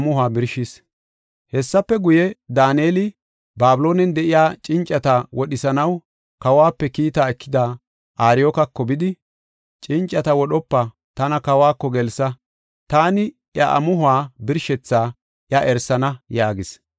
Hessafe guye, Daaneli Babiloonen de7iya cincata wodhisanaw kawuwape kiita ekida, Ariyookako bidi, “Cincata wodhopa; tana kawako gelsa; taani iya amuhuwa birshethaa iya erisana” yaagis.